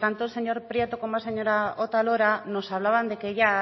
tanto el señor prieto como la señora otalora nos hablaban de que ya